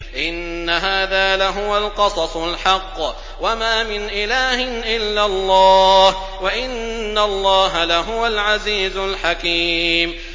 إِنَّ هَٰذَا لَهُوَ الْقَصَصُ الْحَقُّ ۚ وَمَا مِنْ إِلَٰهٍ إِلَّا اللَّهُ ۚ وَإِنَّ اللَّهَ لَهُوَ الْعَزِيزُ الْحَكِيمُ